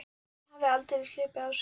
Hann hafði aldeilis hlaupið á sig.